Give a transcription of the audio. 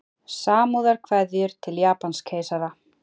Samúðarkveðjur til Japanskeisara